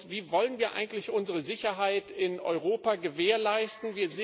Wie wollen wir eigentlich unsere Sicherheit in Europa gewährleisten?